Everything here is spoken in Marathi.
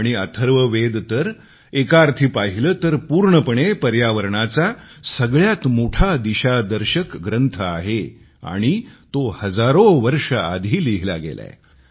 आणि अथर्ववेद तर एकाअर्थी पाहिले तर पूर्णपणे पर्यावरणाचा सगळ्यात मोठा दिशादर्शक ग्रंथ आहे आणि तो हजारो वर्ष आधी लिहिला गेलाय